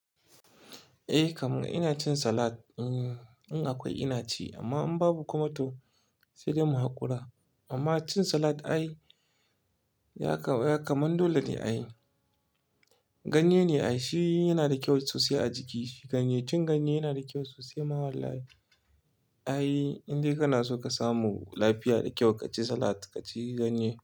Eh kam, ina cin salad. In akwai ina ci amma in babu kuma to sai dai mu haƙura. Amma cin salad ai ya kama, ya kamar dole ne a yi. Ganye ne ai shi yana da kyau sosai a jiki. Ganye, cin ganye yana da kyau sosai ma wallahi. Ai in dai kana so ka samu lafiya da kyau, ka ci salad, ka ci ganye.